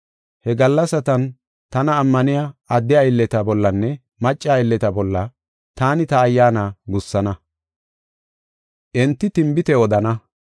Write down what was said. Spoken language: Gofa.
He gallasatan tana ammaniya adde aylleta bollanne macca aylleta bolla taani ta Ayyaana gussana; enti tinbite odana.